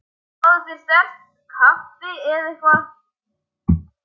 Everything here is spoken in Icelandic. Fáðu þér sterkt kaffi eða eitthvað.